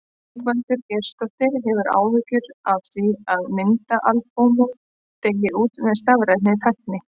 Ingveldur Geirsdóttir: Hefurðu áhyggjur af því að myndaalbúmin deyi út með stafrænni tækni?